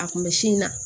A kun bɛ sin na